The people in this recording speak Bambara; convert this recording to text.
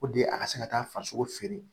a ka se ka taa farisogo feere